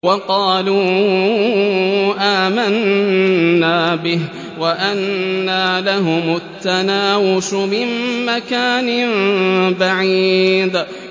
وَقَالُوا آمَنَّا بِهِ وَأَنَّىٰ لَهُمُ التَّنَاوُشُ مِن مَّكَانٍ بَعِيدٍ